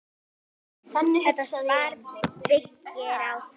Þetta svar byggir á því.